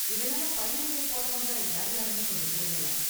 இதனால பயனடைய போறவங்க யார்யாருனு கொஞ்சம் சொல்லுங்களேன்.